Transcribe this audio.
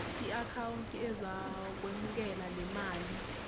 iakhawunti ezokwemukela lemali